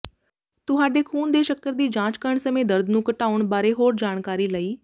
ਤੁਹਾਡੇ ਖ਼ੂਨ ਦੇ ਸ਼ੱਕਰ ਦੀ ਜਾਂਚ ਕਰਨ ਸਮੇਂ ਦਰਦ ਨੂੰ ਘਟਾਉਣ ਬਾਰੇ ਹੋਰ ਜਾਣਕਾਰੀ ਲਈ